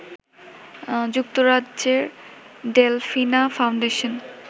যুক্তরাজ্যের Delfina foundation